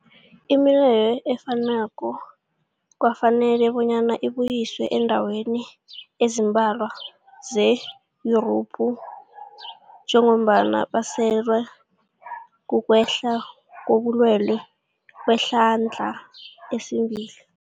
Imileyo efanako kwafanela bonyana ibuyiswe eendaweni ezimbalwa ze-Yurophu njengombana basahlelwa, kukwehla kobulwele kwehlandla lesibili.